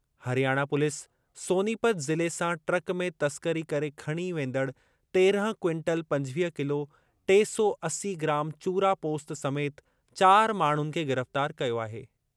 Haryana police Sonipat ज़िले सां truck में तस्करी करे खणी वेंदड़ तेरहं क्विंटल पंजवीह किलो टे सौ असी ग्राम चूरा पोस्त समेति चार माण्हुनि खे गिरफ़्तार कयो आहे।